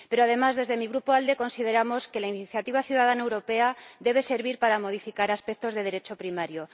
Pero, además, desde mi Grupo, ALDE, consideramos que la iniciativa ciudadana europea debe servir para modificar aspectos de Derecho primario.